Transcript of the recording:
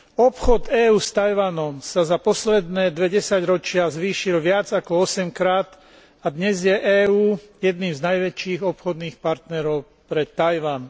Obchod EÚ s Taiwanom sa za posledné dve desaťročia zvýšil viac ako osemkrát a dnes je EÚ jedným z najväčších obchodných partnerov pre Taiwan.